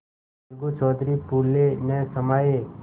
अलगू चौधरी फूले न समाये